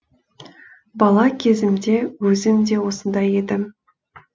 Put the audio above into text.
бала кезімде өзім де осындай едім